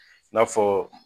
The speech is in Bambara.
N'a fɔ